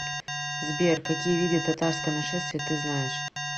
сбер какие виды татарское нашествие ты знаешь